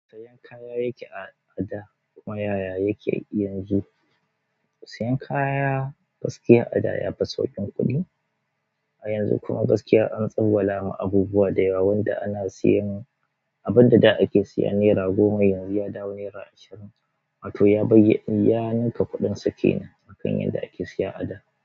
Siyan kaya yake ada kuma yaya yake yanzu. Siyan kaya gaskiya ada yafi sauƙin kuɗi a yanzu kuma gaskiya an tsawala ma abubuwa da yawa wanda ana siyan. Abin da da ake siya nera goma yanzu ya dawo nera ashirin ma to ya ya ninka kuɗin sa kenan akan yanda ake siya ada.